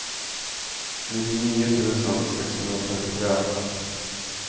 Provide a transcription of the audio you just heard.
nittionio tusen sexhundratrettiotre